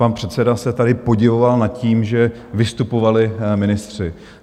Pan předseda se tady podivoval nad tím, že vystupovali ministři.